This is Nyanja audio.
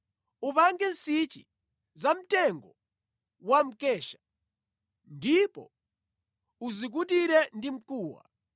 Upange nsichi zamtengo wa mkesha ndipo uzikutire ndi mkuwa.